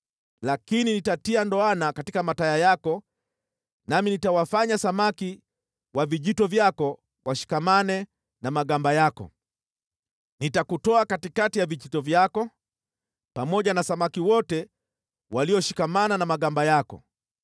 Lakini nitatia ndoana katika mataya yako nami nitawafanya samaki wa vijito vyako washikamane na magamba yako. Nitakutoa katikati ya vijito vyako, pamoja na samaki wote walioshikamana na magamba yako.